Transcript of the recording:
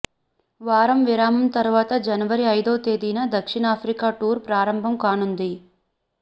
వారం విరామం తర్వాత జనవరి ఐదో తేదీన దక్షిణాఫ్రికా టూర్ ప్రారంభం కానుంది